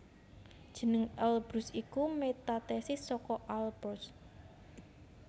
Jeneng Elbrus iku metathesis saka Alborz